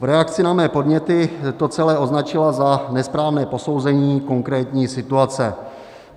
V reakci na mé podněty to celé označila za nesprávné posouzení konkrétní situace.